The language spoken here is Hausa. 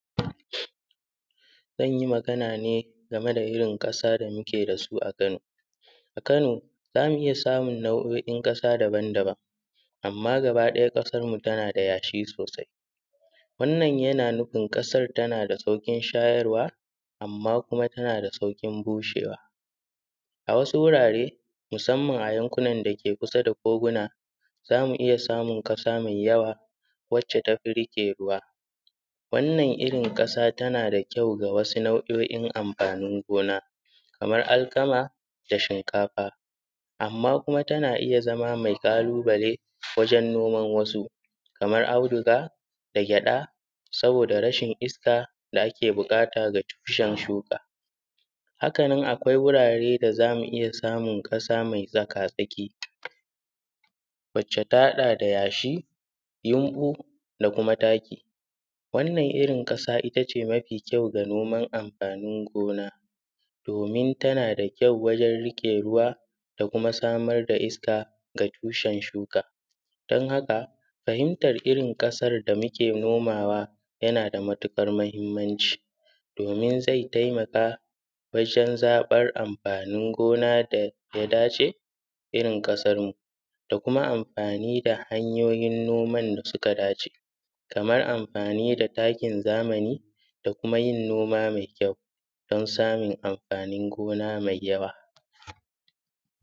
zanyi magana ne game da irrin ƙasa da muke dasu a kano a kano zamu iyya samun nau’oin kasa daban daban amma gaba daya kasan mu tana da yashi sosai wannan yana nufin kasan tanada saukin shayarwa amma kuma tanada saukin bushewa a wasu gurare musamman a gurin dake yankin koguna zamu iyya samun kasa mai yawa wacce tafi rike ruwa wannan irrin kasa tana da kyau ga wasu nau’oin amfanin gona Kaman alkama da shinkafa amma kuma tana iyya zama mai kalubale wajen noman wasu kamar auduga da gyada saboda rashin iska da ake bukata ga tushen shuka Hakanan kwai wurare da zamu iya samu kasa me tsakatsaki wacce ta hada da yashi, yumbu, da kuma taki. Wannan irin kasa itace mafi kyau ga noman amfanin gona domin tana da kyau ajen rike ruwa da kuma samar da iska ga tushe shuka. Dan haka fahintar irrin kasan da muke nomawa yana da matukar mahimmanci domin zai taimaka wajen amfanin gona daya dace da irrin kasarmu da kuma amfani hanyoyin noman da suka dace kamar amfani da takin zamani da kuma yin noma mai kyau don samun amfanin gona mai yawa